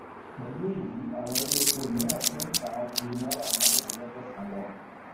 pẹlú èyí àwọn ilé epo míràn tún n táa ju náírà marunlelogosan lọ